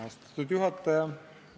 Austatud juhataja!